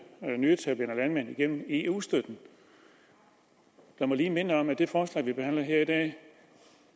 nyetablerede landmænd igennem eu støtten jeg må lige minde om at i det forslag vi behandler her i dag